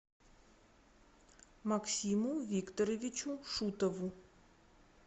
максиму викторовичу шутову